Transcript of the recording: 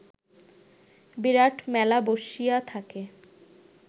বিরাট মেলা বসিয়া থাকে